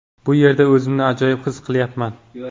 Bu yerda o‘zimni ajoyib his qilyapman.